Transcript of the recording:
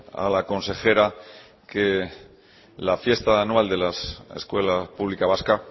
a la consejera que la fiesta anual de la escuela pública vasca